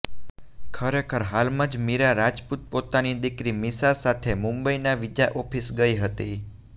ખરેખર હાલમાં જ મીરા રાજપૂત પોતાની દીકરી મીશા સાથે મુંબઇનાં વીઝા ઓફિસ ગઇ હતી